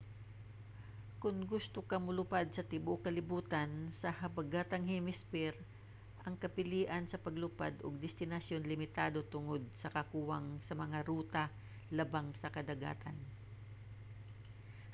kon gusto ka molupad sa tibuuk kalibutan sa habagatang hemisphere ang kapilian sa paglupad ug destinasyon limitado tungod sa kakuwang sa mga ruta labang sa kadagatan